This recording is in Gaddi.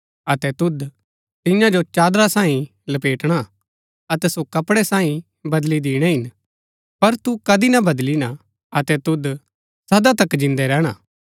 अतै तुद तियां जो चादरा सांईं लपेटणा हा अतै सो कपड़ै सांईं बदली दीणैं हिन पर तू कदी ना बदलिणा अतै तुद सदा तक जिन्दा रैहणा